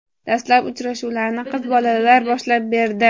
Dastlab uchrashuvlarni qiz bolalar boshlab berdi.